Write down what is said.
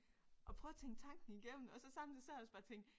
Og prøve at tænke tanken igennem og så samtidig så har jeg også bare tænkt